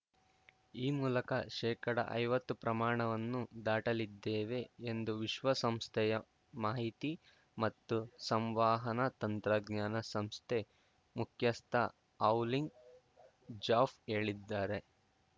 ಈ ಮೂಲಕ ಶೇಕಡಐವತ್ತು ಪ್ರಮಾಣವನ್ನು ದಾಟಲಿದ್ದೇವೆ ಎಂದು ವಿಶ್ವಸಂಸ್ಥೆಯ ಮಾಹಿತಿ ಮತ್ತು ಸಂವಾಹಾನ ತಂತ್ರಜ್ಞಾನ ಸಂಸ್ಥೆ ಮುಖ್ಯಸ್ಥ ಹೌಲಿನ್‌ ಝೌಫ್ ಹೇಳಿದ್ದಾರೆ